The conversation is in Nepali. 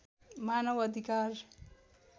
मानव अधिकार